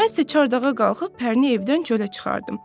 Mən isə çardağa qalxıb Pərini evdən çölə çıxardım.